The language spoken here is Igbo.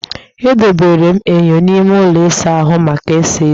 Edobere m enyo n'ime ụlọ ịsa ahụ maka ịsa eze